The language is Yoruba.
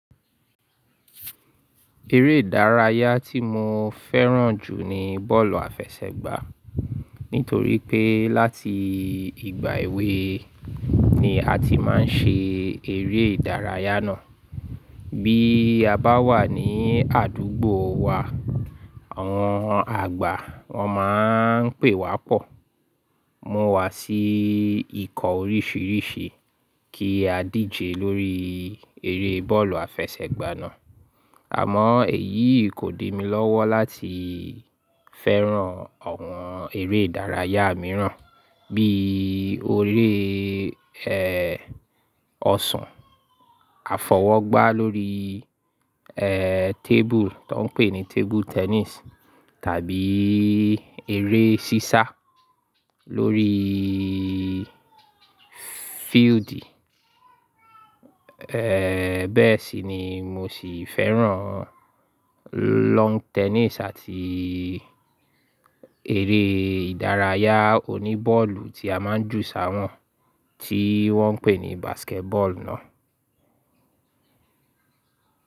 Eré ìdárayá tí mo fẹ́ràn jù ni bọ́ọ̀lù àfẹsẹ̀gbá. Nítorí pé láti ìgbà èwe ni a ti máa ń ṣe eré ìdárayá náà. Bí a bá wà ní àdúgbò wa, àwọn àgbà wọ́n máa ń pè wá pọ̀, mú wá sí ikọ̀ oríṣiríṣi kí á díje lórí eré bọ́ọ̀lù àfẹsẹ̀gbá náà. Àmọ́ èyí kò di mi lọ́wọ́ láti fẹ́ràn àwọn eré ìdárayá mìíràn bíi eré, ẹ́, ọsàn, àfọwọ́gbá lórí, ẹ́, tábùù tó ń pè ní table tennis tàbí eré sísá lórí field. Ẹ̀, bẹ́ẹ̀ sì ni mo sì fẹ́ràn, lawn tennis àti eré ìdárayá oní bọ́ọ̀lù tí a máa ń jù sáwọn tí wọ́n ń pè ní basketball náà.